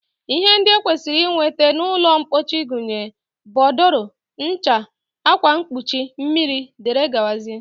Ihe ndị e kwesịrị inweta n'ụlọmpochi gụnyere bodòrò, ncha, akwamkpochi, mmiri, dg